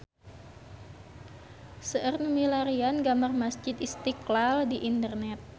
Seueur nu milarian gambar Masjid Istiqlal di internet